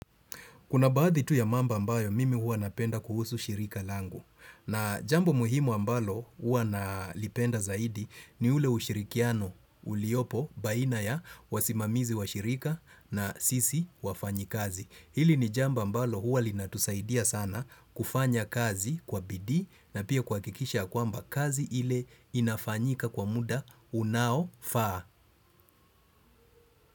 Kuna baadhi tu ya mambo ambayo mimi hua napenda kuhusu shirika langu. Na jambo muhimu ambalo hua nalipenda zaidi ni ule ushirikiano uliopo baina ya wasimamizi wa shirika na sisi wafanyi kazi. Hili ni jambo ambalo hua linatusaidia sana kufanya kazi kwa bidi na pia kuhakikisha kwamba kazi ile inafanyika kwa muda unao faa.